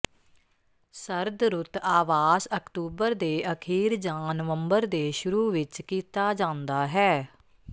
ਸਰਦ ਰੁੱਤ ਆਵਾਸ ਅਕਤੂਬਰ ਦੇ ਅਖੀਰ ਜਾਂ ਨਵੰਬਰ ਦੇ ਸ਼ੁਰੂ ਵਿੱਚ ਕੀਤਾ ਜਾਂਦਾ ਹੈ